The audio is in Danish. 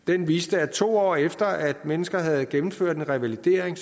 den viser at to år efter at mennesker havde gennemført en revalidering